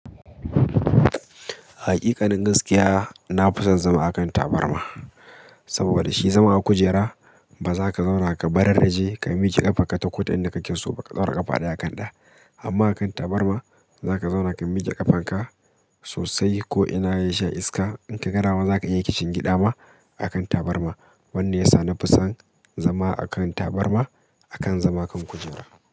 Haƙiƙanin gaskiya, na fi son zama a kan tabarma saboda shi zama a kujera ba za ka zauna ka bararraraje ka miƙe ƙafarka ta koda yanda kake so ba ka ɗaura ƙafa ɗaya a kan ɗaya. Amma a kan tabarma, zaka zauna ka miƙe ƙafarka sosai. Ko ina ya sha iska, idan kaga dama ma zaka iya kishingiɗa ma a kan tabarma. Wannan yasa na fi son zama a kan tabarma akan zama kan kujera.